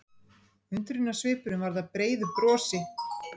Undrunarsvipurinn varð að breiðu brosi.